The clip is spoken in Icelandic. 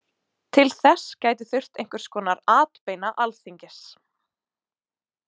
Til þess gæti þurft einhvers konar atbeina Alþingis.